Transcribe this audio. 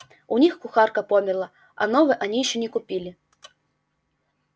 у них кухарка померла а новой они ещё не купили